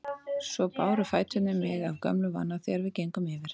Svo báru fæturnir mig af gömlum vana þegar við gengum yfir